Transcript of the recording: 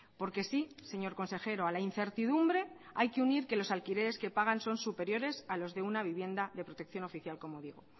porque sí señor consejero a la incertidumbre hay que unir que los alquileres que pagan son superiores a los de una vivienda de protección oficial como digo